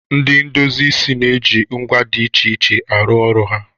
Ndị ndosi na-eji ngwa dị iche iche arụ ọrụ ha.